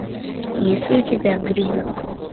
есть ли у тебя грибок